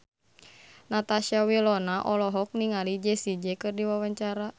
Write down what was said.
Natasha Wilona olohok ningali Jessie J keur diwawancara